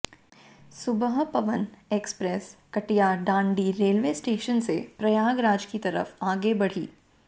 सुबह Pawan express Kataiyadandi railway station से प्रयागराज की तरफ आगे बढ़ी